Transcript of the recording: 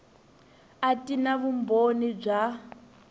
a ti na vumbhoni bya